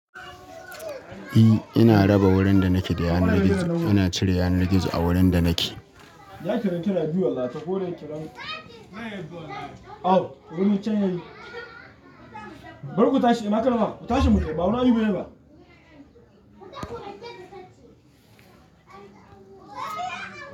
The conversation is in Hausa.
E, ina raba wurin da nake da yanar gizo. Ina cire yanar gizo a wurin da nake. Ya karanta na biyu wallahi, ta kore karen ta. Wani can ya yi Bar ku tashi, ina ka nufa? Ku tashi mu tafi, ba mu ani guri ba.